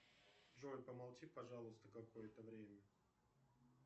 джой помолчи пожалуйста какое то время